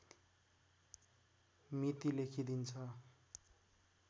मिति लेखिदिन्छ